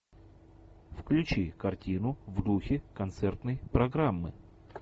включи картину в духе концертной программы